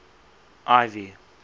ivy